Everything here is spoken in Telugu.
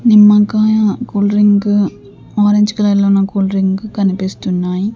నిమ్మకాయ కూల్ డ్రింకు ఆరెంజ్ కలర్ లో ఉన్న కూల్ డ్రింక్ కనిపిస్తున్నాయి.